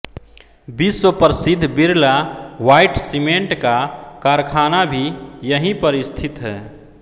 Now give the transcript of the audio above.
विश्व प्रसिद्ध Birla white cement का कारखाना भी यहीं पर स्थित है